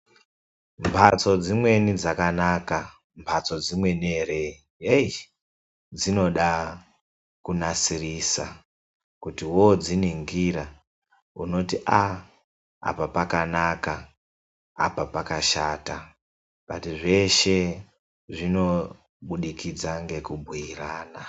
Mbatso dzimweni dzakanaka ,mbatso dzimweni ere hei dzinoda kunasirisa kuti wodziningira unoona kuti apa pakanaka apaa pakashata asi zveshe zvinobudikidza ngekubhuyirana.